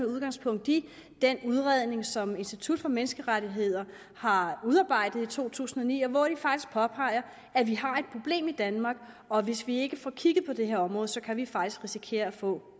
udgangspunkt i den udredning som institut for menneskerettigheder har udarbejdet i to tusind og ni og hvori de faktisk påpeger at vi har et problem i danmark og at hvis vi ikke får kigget på det her område så kan vi faktisk risikere at få